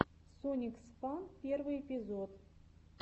сониксфан первый эпизод